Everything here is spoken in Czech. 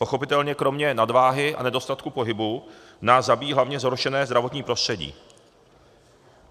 Pochopitelně kromě nadváhy a nedostatku pohybu nás zabíjí hlavně zhoršené zdravotní prostředí.